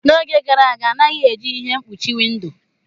N'oge gara aga, a naghị eji ihe mkpuchi windo.